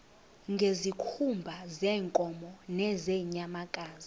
ngezikhumba zeenkomo nezeenyamakazi